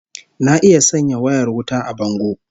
Na iya sanya wayar wuta a bango